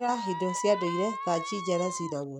Hũthĩra indo cia ndũire ta njija na cinamoni.